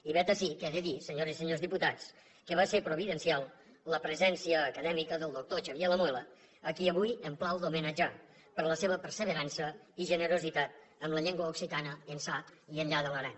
i vet ací que he de dir senyores i senyors diputats que va ser providencial la presència acadèmica del doctor xavier lamuela a qui avui em plau d’homenatjar per la seva perseverança i generositat amb la llengua occitana ençà i enllà de l’aran